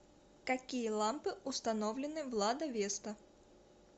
какие лампы установлены в лада веста